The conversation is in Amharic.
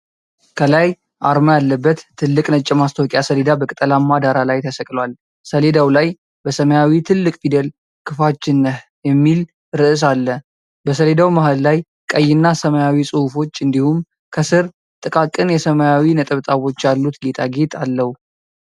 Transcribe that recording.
ከላይ አርማ ያለበት ትልቅ ነጭ የማስታወቂያ ሰሌዳ በቅጠላማ ዳራ ላይ ተሰቅሏል። ሰሌዳው ላይ በሰማያዊ ትልቅ ፊደል "ክፋችን ነህ!" የሚል ርዕስ አለ። በሰሌዳው መሃል ላይ ቀይና ሰማያዊ ጽሁፎች እንዲሁም ከስር ጥቃቅን የሰማያዊ ነጠብጣቦች ያሉት ጌጣጌጥ አለው።